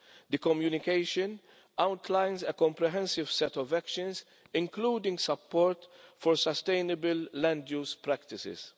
The communication outlines a comprehensive set of actions, including support for sustainable land-use practices.